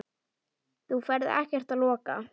Þú ferð ekkert að loka!